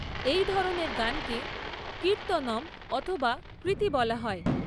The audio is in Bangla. এই ধরনের গানকে কীর্ত্তনম অথবা কৃতি বলা হয়।